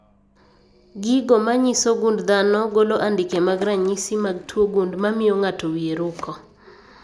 Gigo manyiso gund dhano golo andike mag ranyisi mag tuo gund mamio ng'ato wie roko